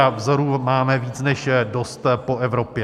A vzorů máme víc než dost po Evropě.